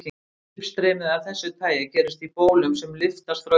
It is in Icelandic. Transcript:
Uppstreymi af þessu tagi gerist í bólum sem lyftast frá yfirborði.